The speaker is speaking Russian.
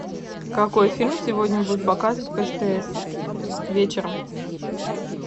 какой фильм сегодня будут показывать по стс вечером